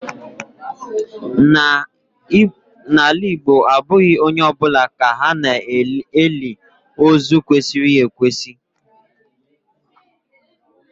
N'ala Igbo abụghị onye ọ bụla ka ha na-eli ozu kwesịrị ekwesị.